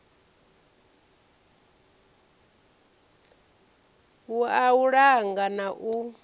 wua u langa na u